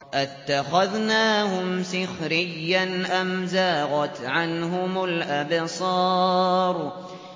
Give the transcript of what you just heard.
أَتَّخَذْنَاهُمْ سِخْرِيًّا أَمْ زَاغَتْ عَنْهُمُ الْأَبْصَارُ